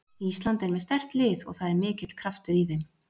Ísland er með sterkt lið og það er mikill kraftur í þeim.